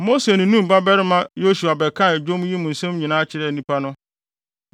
Mose ne Nun babarima Hosea ba bɛkaa dwom yi mu nsɛm nyinaa kyerɛɛ nnipa no.